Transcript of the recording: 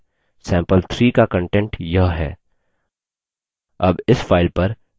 sample3 का content यह है